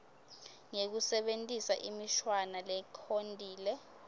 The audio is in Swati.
ngekusebentisa imishwana lekhontile